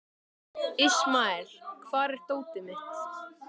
Ismael, hvar er dótið mitt?